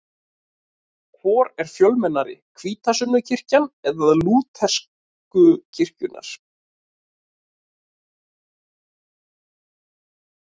Hvor er fjölmennari, hvítasunnukirkjan eða lútersku kirkjurnar?